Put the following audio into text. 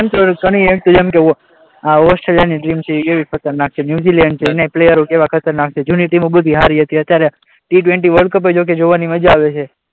તને એમ હોય કે આ ઓસ્ટ્રેલીયાની ટીમ છે કેવી ખતરનાક છે, ન્યૂઝીલેન્ડછે એના પ્લેયર કેવાં ખતરનાક છે! જૂની ટીમો બધી સારી હતી અત્યારે ટી ટવેન્ટી વર્લ્ડ કપ જોકે જોવાની મજા આવે છે.